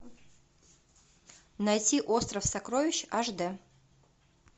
найти остров сокровищ аш д